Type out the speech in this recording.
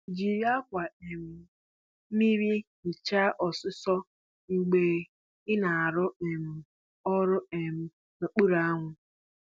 Jiri ákwà um mmiri hichaa ọsụsọ mgbe ị na-arụ um ọrụ um n’okpuru anwụ.